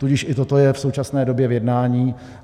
Tudíž i toto je v současné době v jednání.